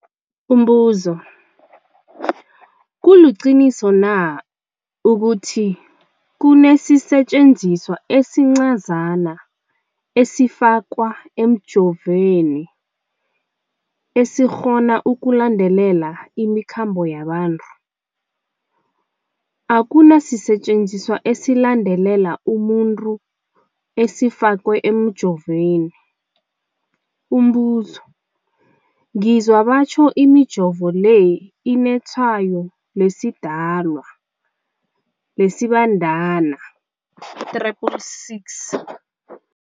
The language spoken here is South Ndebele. Umbuzo, kuliqiniso na ukuthi kunesisetjenziswa esincazana esifakwa emijovweni, esikghona ukulandelela imikhambo yabantu? Akuna sisetjenziswa esilandelela umuntu esifakwe emijoveni. Umbuzo, ngizwa batjho imijovo le inetshayo lesiDalwa, lesiBandana 666.